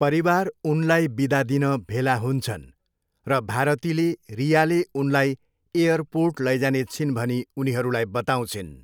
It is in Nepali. परिवार उनलाई बिदा दिन भेला हुन्छन् र भारतीले रियाले उनलाई एयरपोर्ट लैजाने छिन् भनी उनीहरूलाई बताउँछिन्।